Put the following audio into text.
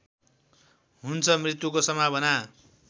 हुन्छ मृत्युको सम्भावना